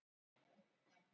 í þessu efni.